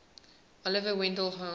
oliver wendell holmes